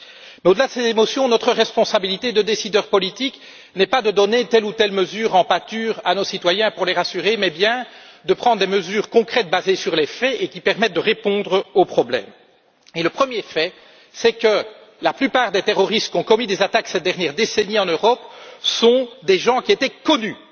Mais au delà de ces émotions, notre responsabilité de décideurs politiques n'est pas de donner telle ou telle mesure en pâture à nos citoyens pour les rassurer, mais bien de prendre des mesures concrètes, basées sur les faits et qui permettent de répondre aux problèmes. Le premier fait est que la plupart des terroristes qui ont commis des attaques ces dernières décennies en Europe étaient connus